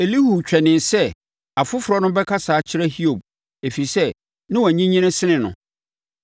Elihu twɛnee sɛ afoforɔ no bɛkasa akyerɛ Hiob, ɛfiri sɛ, na wɔanyinyini sene no.